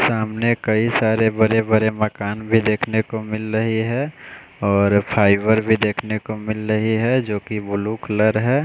सामने कई सारे बड़े-बड़े मकान भी देखने को मिल रही है और फाइबर भी देखने को मिल रही है जो कि ब्लू कलर है।